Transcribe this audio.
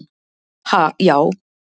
Ha, já.